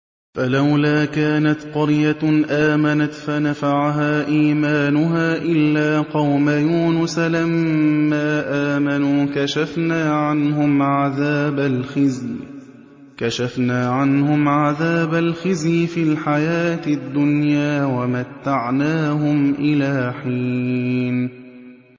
فَلَوْلَا كَانَتْ قَرْيَةٌ آمَنَتْ فَنَفَعَهَا إِيمَانُهَا إِلَّا قَوْمَ يُونُسَ لَمَّا آمَنُوا كَشَفْنَا عَنْهُمْ عَذَابَ الْخِزْيِ فِي الْحَيَاةِ الدُّنْيَا وَمَتَّعْنَاهُمْ إِلَىٰ حِينٍ